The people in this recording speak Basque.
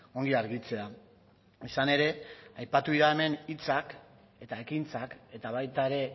ongi argitzea izan ere aipatu dira hemen hitzak eta ekintzak eta baita ere